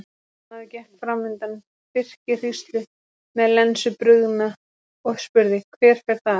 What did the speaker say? Maður gekk fram undan birkihríslu með lensu brugðna og spurði:-Hver fer þar?